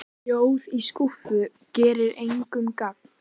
Ljóð í skúffu gera engum gagn.